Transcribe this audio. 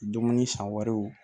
Dumuni san wɛrɛw